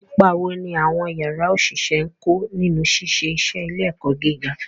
Ipa wo ni àwọn yàrá òṣìṣẹ́ ń kó nínú ṣíṣe iṣẹ́ ilé-ẹ̀kọ́ gíga?